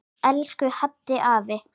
Elsku Haddi afi.